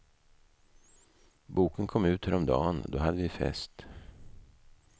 Boken kom ut häromdagen, då hade vi fest.